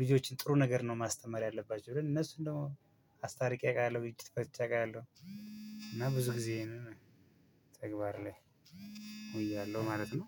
ልጆችን ጥሩ ነገር ነው ማስተማር ያለባቸው ብለን እነሱን ደግሞ አስታርቄ አውቃለሁ። ልጅ አውቃለሁ። እና ብዙ ጊዜ ይሄንን ተግባር ላይ እውያለሁ ማለት ነው።